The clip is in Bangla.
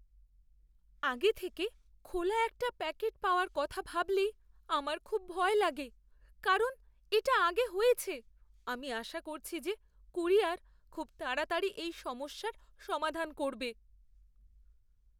আগে থেকে খোলা একটা প্যাকেট পাওয়ার কথা ভাবলেই আমার খুব ভয় লাগে কারণ এটা আগে হয়েছে; আমি আশা করছি যে কুরিয়ার খুব তাড়াতাড়ি এই সমস্যার সমাধান করবে।